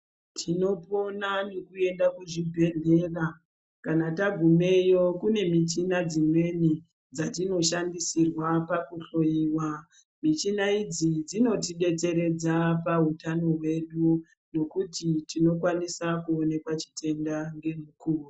Tinopona nekuenda kuchibhehleya kana tagumeyo kune michina dzimweni dzatinoshandisirwa pakuhloyiwa michina idzi dzinotidetseredza pautano hwedu ngekuti tinokwanise kuoneka chitenda ngemukuwo.